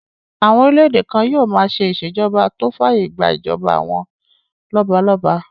Àwọn orílẹ̀-èdè kan yóò máa ṣe ìṣèjọba tó fàyè gbà ìjọba àwọn lọ́balọ́ba